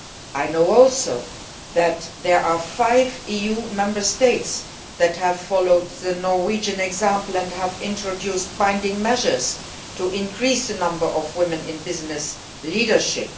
I know too that there are five EU Member States which have followed the Norwegian example and have introduced binding measures to increase the number of women in business leadership.